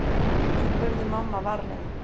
spurði mamma varlega.